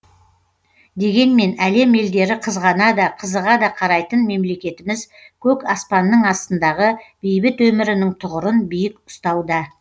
дегенмен әлем елдері қызғана да қызыға да қарайтын мемлекетіміз көк аспанның астындағы бейбіт өмірінің тұғырын биік ұстауда